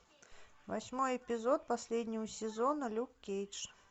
восьмой эпизод последнего сезона люк кейдж